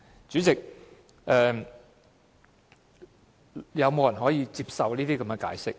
主席，有沒有人可以接受這樣的解釋？